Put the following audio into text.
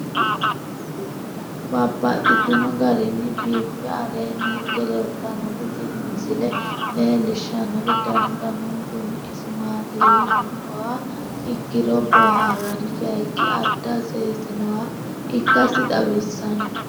Babaxxittinno garinni biiffe aleenni hige leelittannotti tinni misile lelishshanori danu danunkunni isi maattiya yinummoha ikkiro booharanni bayiichchi adda seesinoha ikkassi xawissanno.